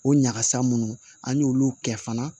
O ɲagasa munnu an y'olu kɛ fana